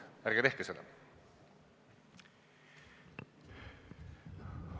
Ärge tehke seda!